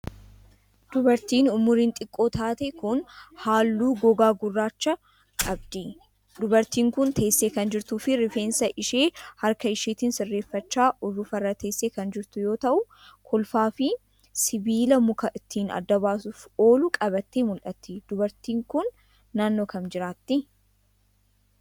Dubartiin umuriin xiqqoo taate kun, haalluu gogaa gurraacha qabdi. Dubartiin kun, teessee kan jirtuu fi rifeensa ishee harka isheetin sirreeffachaa urufa irra teessee kan jirtu yoo ta'u, kolfaa fi sibiila muka ittiin adda baasuuf oolu qabattee mul'atti. Dubartiin kun, naannoo kam jiraatti?